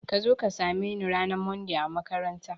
Kazo ka same ni ranar Monday a makaranta